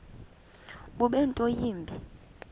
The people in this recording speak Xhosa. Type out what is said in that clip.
bube nto yimbi